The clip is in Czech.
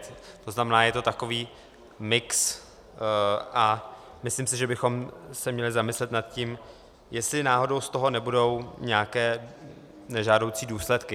To znamená, je to takový mix a myslím si, že bychom se měli zamyslet nad tím, jestli náhodou z toho nebudou nějaké nežádoucí důsledky.